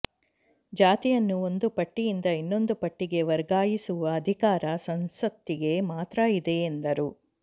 ಜಾತಿಯನ್ನು ಒಂದು ಪಟ್ಟಿಯಿಂದ ಇನ್ನೊಂದು ಪಟ್ಟಿಗೆ ವರ್ಗಾಯಿಸುವ ಅಧಿಕಾರ ಸಂಸತ್ತಿಗೆ ಮಾತ್ರ ಇದೆ ಎಂದರು